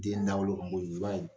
Den dawolo i b'a ye